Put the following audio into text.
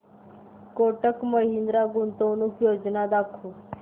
कोटक महिंद्रा गुंतवणूक योजना दाखव